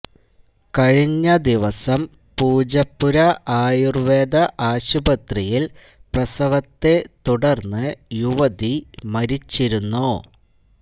കഴിഞ്ഞ ദിവസം പൂജപ്പുര ആയുർവേദ ആശുപത്രിയിൽ പ്രസവത്തെ തുടർന്ന് യുവതി മരിച്ചിരുന്നു